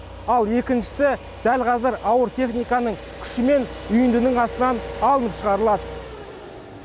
ал екіншісі дәл қазір ауыр техниканың күшімен үйіндінің астынан алынып шығарылады